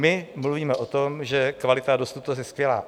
My mluvíme o tom, že kvalita a dostupnost je skvělá.